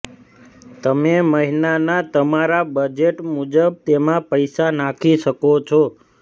તમે મહિનાના તમારા બજેટ મુજબ તેમા પૈસા નાખી શકો છો